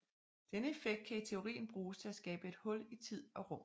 Denne effekt kan i teorien bruges til at skabe et hul i tid og rum